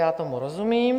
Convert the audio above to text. Já tomu rozumím.